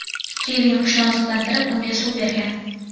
Kevin qushni oziqlantirib, unga suv bergan.